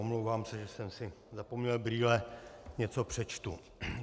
Omlouvám se, že jsem si zapomněl brýle, něco přečtu.